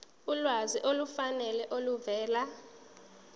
ulwazi olufanele oluvela